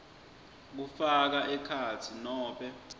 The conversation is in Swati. kufaka ekhatsi nobe